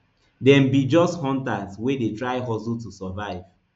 dem be just hunters wey dey try hustle to survive